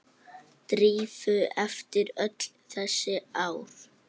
Drífu eftir öll þessi ár.